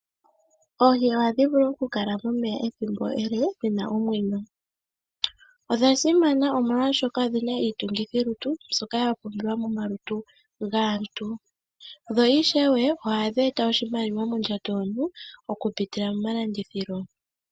Oohi ohadhi vulu okukala momeya ethimbo ele dhi na omwenyo. Odha simana molwashoka odhi na iitungithilutu mbyoka ya pumbiwa momalutu gaantu. Dho ishewe ohadhi eta oshimaliwa mondjato yomuntu okupitila momalandithilo.